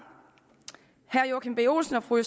herre joachim b olsen og fru